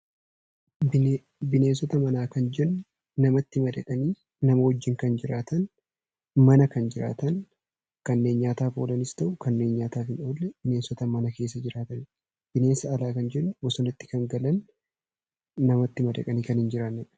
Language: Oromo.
Bineensota manaa kan jennu namatti madaqanii namaa wajjin kan jiraatan, mana kan jiraatan, kanneen nyaataaf oolanis ta'u kanneen nyaataaf hin oolle bineensota mana keessa jiraatan dha. Bineensa alaa kan jennu namatti madaqanii kan hin jiraanne dha.